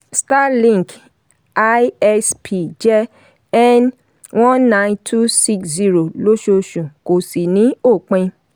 starlink isp jẹ́ n one nine two six zero lóṣooṣù kò sì ní òpin.